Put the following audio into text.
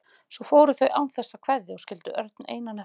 Svo fóru þau án þess að kveðja og skildu Örn einan eftir.